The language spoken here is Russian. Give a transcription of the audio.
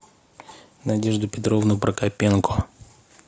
надежду петровну прокопенко